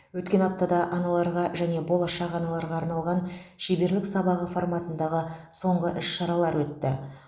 өткен аптада аналарға және болашақ аналарға арналған щеберлік сабағы форматындағы соңғы іс шаралар өтті